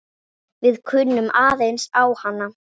Við kunnum aðeins á hana.